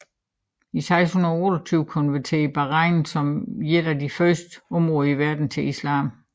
I 628 konverterede Bahrain som et af de første områder i verden til islam